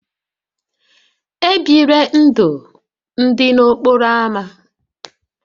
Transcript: E bila ndụ ndị n'okporo ámá